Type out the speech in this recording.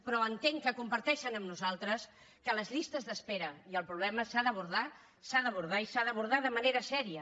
però entenc que comparteixen amb nosaltres que les llistes d’espera i el problema s’han d’abordar s’han d’abordar i s’han d’abordar de manera seriosa